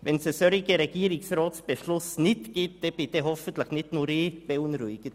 Wenn es keinen solchen Regierungsratsbeschluss gibt, dann bin hoffentlich nicht nur ich beunruhigt.